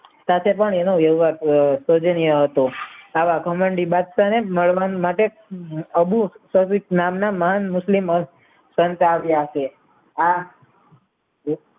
સાથે પણ એનો વ્યવહાર હતો જેને હતો આવા ઘમંડી બાદશાહને મળવા માટે અબુ સાદિક નામના મહાન મુશ્લીમ સંત આવ્યા હશે આ